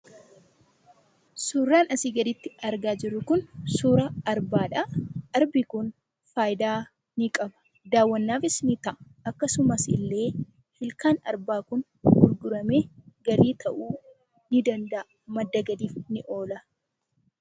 Suuraan asii gaditti argaa jirru kun suuraa arbaadha. Arbi kun faayidaa ni qaba. Daawwannaafis ni ta'a. Akkasuma illee, ilkaan arbaa kun gurguramee galii ta'uu ni danda'a. Madda galiif ni oola.